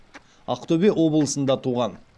ақтөбе облысында туған